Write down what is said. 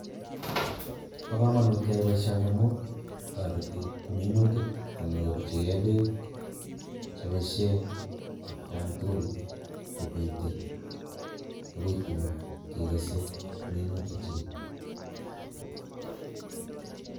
Bo kamanut keyai boisioni amu, toreti minutik konyorchikei peek cheboisie atkan tugul kobite akoi tun kekese minutikchik.